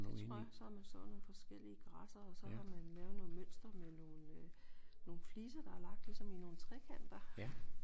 Det tror jeg så har man sået nogle forskellige græsser og så har man lavet noget mønster med nogle øh nogle fliser der er lagt ligesom i nogle trekanter